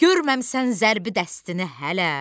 Görməmisən zərbi dəstini hələ?